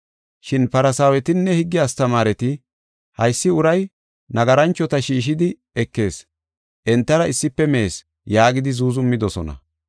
Shin Farsaawetinne higge astamaareti, “Haysi uray nagaranchota shiishidi ekees, entara issife mees” yaagidi zuuzumidosona.